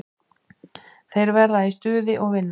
Þeir verða í stuði og vinna.